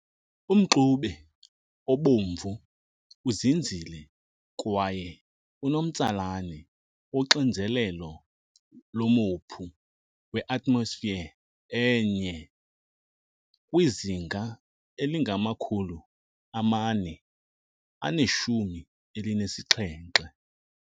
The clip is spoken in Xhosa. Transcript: Umxube obomvu uzinzile kwaye unomtsalane woxinzelelo lomophu we-atmosphere e-1 kwizinga elingama-417.